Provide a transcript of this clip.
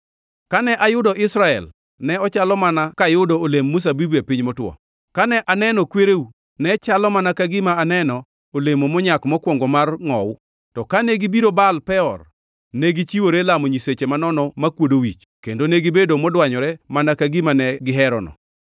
“Kane ayudo Israel ne ochalo mana kayudo olemb mzabibu e piny motwo, kane aneno kwereu, ne chalo mana ka gima aneno olemo monyak mokwongo mar ngʼowu. To kane gibiro Baal Peor, negichiwore lamo nyiseche manono makwodo wich, kendo negibedo modwanyore mana ka gima ne giherono.